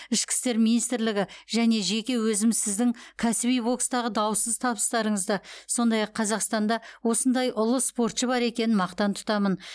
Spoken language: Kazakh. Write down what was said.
ішкі істер министрлігі және жеке өзім сіздің кәсіби бокстағы даусыз табыстарыңызды сондай ақ қазақстанда осындай ұлы спортшы бар екенін мақтан тұтамын